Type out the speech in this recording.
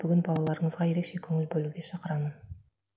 бүгін балаларыңызға ерекше көңіл бөлуге шақырамын